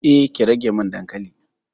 Eh, ki rage min dankalin.